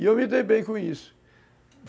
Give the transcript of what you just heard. E eu me dei bem com isso.